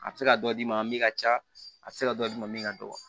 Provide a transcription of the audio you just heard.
A bɛ se ka dɔ d'i ma min ka ca a tɛ se ka dɔ d'i ma min ka dɔgɔ